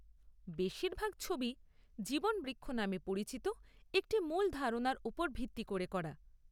বেশিরভাগ ছবি 'জীবন বৃক্ষ' নামে পরিচিত একটি মূল ধারণার উপর ভিত্তি করে করা।